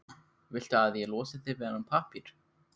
Viltu að ég losi þig við þennan pappír?